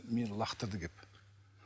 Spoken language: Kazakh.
мені лақтырды келіп